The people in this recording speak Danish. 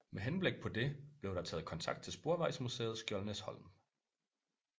Med henblik på det blev der taget kontakt til Sporvejsmuseet Skjoldenæsholm